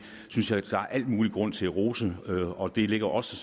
synes jeg der er al mulig grund til at rose og det ligger også